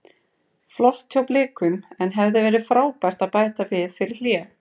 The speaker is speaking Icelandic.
Flott hjá Blikum en hefði verið frábært að bæta við fyrir hlé.